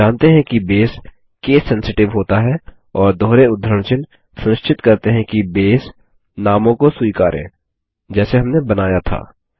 हम जानते हैं कि बेस केस सेंसिटिव होता है और दोहरे उद्धरण चिह्न सुनिश्चित करते हैं कि बेस नामों को स्वीकारे जैसे हमने बनाया था